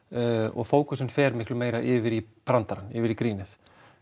og fókusinn fer miklu meira yfir í brandarann yfir í grínið